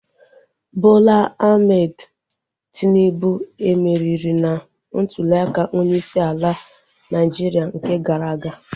Bola Ahmed Tinubu e meriri na ntuliaka onyeisi ala Naịjiria nke gara aga?